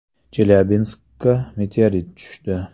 Chelyabinskga meteorit tushdi.